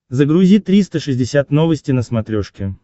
загрузи триста шестьдесят новости на смотрешке